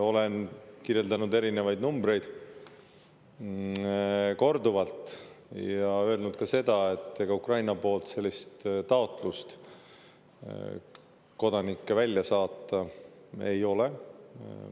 Olen toonud erinevaid numbreid, korduvalt öelnud ka seda, et ega Ukraina poolt sellist taotlust kodanikke välja saata ei ole tulnud.